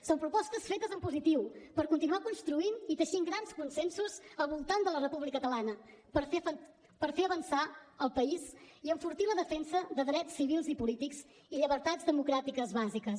són propostes fetes en positiu per continuar construint i teixint grans consensos al voltant de la república catalana per fer avançar el país i enfortir la defensa de drets civils i polítics i llibertats democràtiques bàsiques